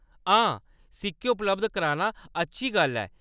हां, सिक्के उपलब्ध कराना अच्छी गल्ल ऐ।